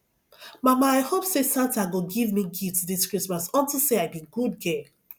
mama i hope say santa go give me gift dis christmas unto say i be good girl